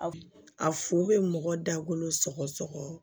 A fu be mɔgɔ dagolo sɔgɔ